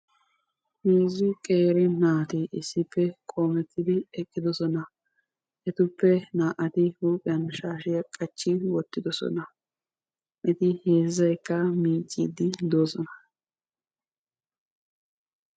HeeZzu qeeri naatti issippe qoomettidi eqidossona. Etuppe naa"ati huuphiyan shaashiya qaccidossona. Etappe naa"ay miicidi de"oosona.